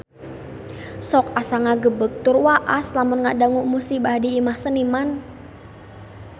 Sok asa ngagebeg tur waas lamun ngadangu musibah di Imah Seniman